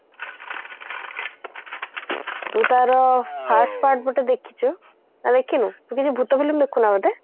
ଯୋଉ ତାର first part ବି ତ ଦେଖିଛୁ ନା ଦେଖିନୁ ତୁ କେବେ ଭୁତ film ଦେଖୁନା ବୋଧେ